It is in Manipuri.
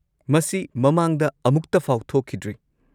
ꯃꯁꯤ ꯃꯃꯥꯡꯗ ꯑꯃꯨꯛꯇꯐꯥꯎ ꯊꯣꯛꯈꯤꯗ꯭ꯔꯤ꯫